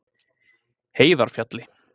Heiðarfjalli